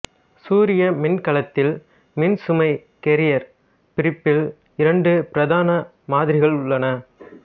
சூரிய மின்கலத்தில் மின்சுமை கேரியர் பிரிப்பில் இரண்டு பிரதான மாதிரிகள் உள்ளன